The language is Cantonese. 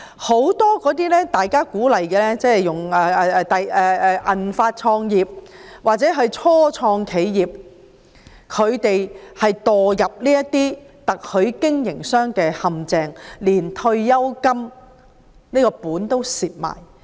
很多受鼓勵創業的人，例如"銀髮創業"或初創企業者紛紛墮入特許經營的陷阱，連退休金都蝕掉。